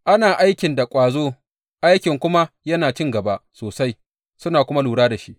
Ana aikin da ƙwazo, aikin kuma yana cin gaba sosai, suna kuma lura da shi.